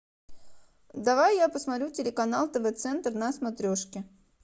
давай я посмотрю телеканал тв центр на смотрешке